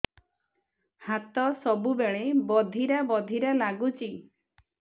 ହାତ ସବୁବେଳେ ବଧିରା ବଧିରା ଲାଗୁଚି